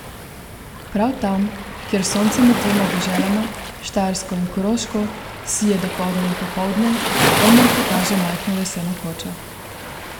Prav tam, kjer sonce med dvema deželama, Štajersko in Koroško, sije dopoldne in popoldne, Elmar pokaže majhno leseno kočo.